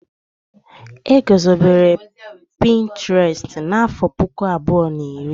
E gozobere pinturestu n'àfọ́ puku abụọ na iri.